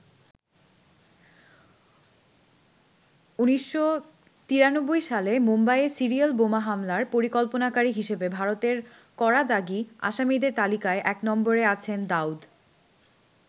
১৯৯৩ সালে মুম্বাইয়ে সিরিয়াল বোমা হামলার পরিকল্পনাকারী হিসেবে ভারতের করা দাগী আসামিদের তালিকায় এক নম্বরে আছেন দাউদ।